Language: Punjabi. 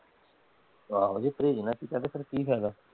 ਆਹੋ ਜੇ ਪ੍ਰਹੇਜ ਨਾ ਕੀਤਾ ਤੇ ਫੇਰ ਕੀ ਫਾਇਦਾ?